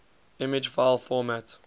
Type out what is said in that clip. image file format